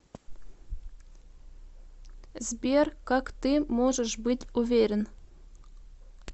сбер как ты можешь быть уверен